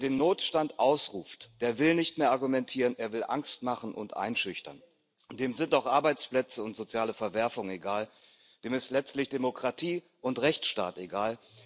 Wer den Notstand ausruft, der will nicht mehr argumentieren, er will Angst machen und einschüchtern, und dem sind auch Arbeitsplätze und soziale Verwerfungen egal, dem sind letztlich Demokratie und Rechtsstaat egal.